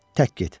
Tək get.